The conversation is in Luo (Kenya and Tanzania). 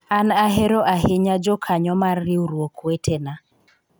an ahero ahinya jokanyo mar riwruok wetena